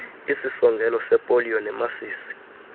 isisongelo sepoliyo nemasisi